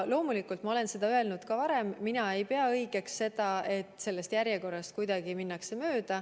Loomulikult, ma olen seda öelnud ka varem, et mina ei pea õigeks, et sellest järjekorrast kuidagi mööda minnakse.